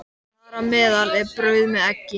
Þar á meðal er brauð með eggi.